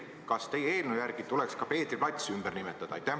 Kas teie eelnõu järgi tuleks ka Peetri plats ümber nimetada?